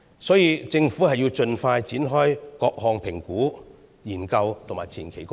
所以，政府應盡快展開各項評估、研究和前期工作。